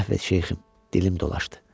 Əhv et şeyxim, dilim dolaşdı.